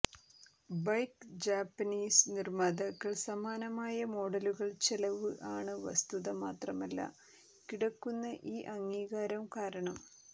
bike Japanese നിർമ്മാതാക്കൾ സമാനമായ മോഡലുകൾ ചെലവ് ആണ് വസ്തുത മാത്രമല്ല കിടക്കുന്ന ഈ അംഗീകാരം കാരണം